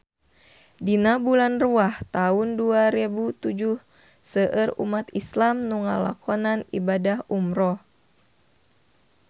Dina bulan Rewah taun dua rebu tujuh seueur umat islam nu ngalakonan ibadah umrah